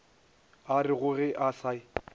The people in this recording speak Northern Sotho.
a rego ge a se